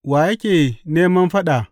Wa yake neman fada?